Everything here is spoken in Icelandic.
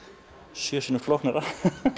sjö sinnum flóknara